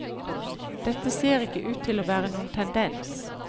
Dette ser ikke ut til å være noen tendens.